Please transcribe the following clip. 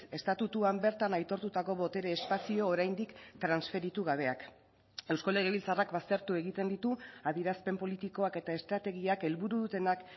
estatutuan bertan aitortutako botere espazio oraindik transferitu gabeak eusko legebiltzarrak baztertu egiten ditu adierazpen politikoak eta estrategiak helburu dutenak